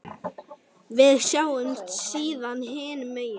Við sjáumst síðar hinum megin.